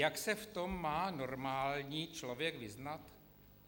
Jak se v tom má normální člověk vyznat?